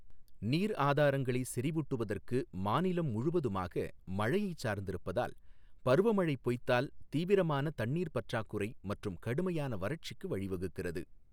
நீர் ஆதாரங்களை செறிவூட்டுவதற்கு மாநிலம் முழுவதுமாக மழையைச் சார்ந்திருப்பதால், பருவமழை பொய்த்தால் தீவிரமான தண்ணீர் பற்றாக்குறை மற்றும் கடுமையான வறட்சிக்கு வழிவகுக்கிறது.